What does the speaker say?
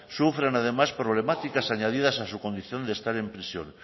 sufren además problemáticas añadidas a su condición de estar en prisión